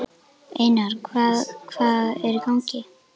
Einar, hvað hvað er í gangi?